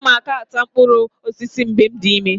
Aga m aka taa mkpụrụ osisi mgbe m dị ime.